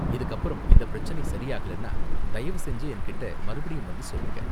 இதுக்கு அப்பறமும் இந்த பிரச்சினை சரி ஆகலன்னா தயவு செஞ்சு என்கிட்ட மறுபடியும் வந்து சொல்லுங்க.